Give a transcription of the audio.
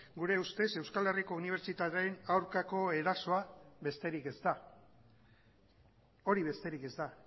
gure ustez euskal herriko unibertsitateen aurkako erasoa besterik ez da hori besterik ez da